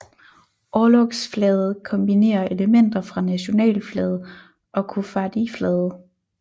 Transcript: Orlogsflaget kombinerer elementer fra nationalflaget og koffardiflaget